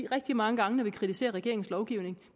rigtig mange gange når vi kritiserer regeringens lovgivning